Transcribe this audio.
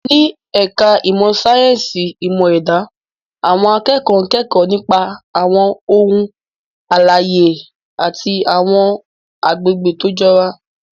Ní ẹ̀ka ìmọ̀ sáyẹ́sì ìmọ̀ ẹ̀dá, àwọn akẹ́kọ̀ọ́ ń kẹ́kọ̀ọ́ nípa àwọn ohun alààyè àti àwọn àgbègbè tó jọra.